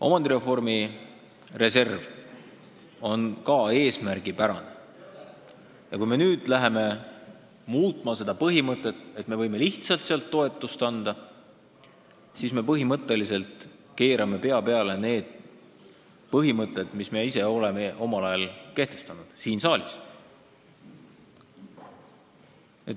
Omandireformi reservil on oma eesmärk ja kui me nüüd hakkame muutma selle põhimõtet nii, et otsustame lihtsalt sealt toetust anda, siis me keerame pea peale printsiibid, mis me ise oleme omal ajal siin saalis kehtestanud.